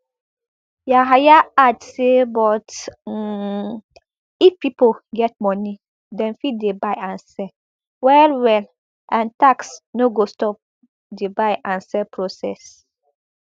yahaya add say but um if pipo get money dem fit dey buy and sell wellwell and tax no go stop di buy and sell process